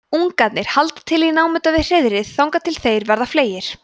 ungarnir halda til í námunda við hreiðrið þangað til þeir verða fleygir